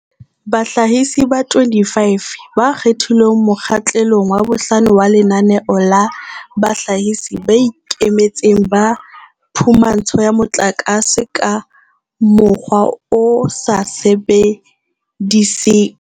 Bahlahisi ba 25 ba kgethilweng mokgahle long wa bohlano wa Lenaneo la Bahlahisi ba Ikemetseng ba Phumantsho ya Motlakase ka Mokgwa o sa Sebediseng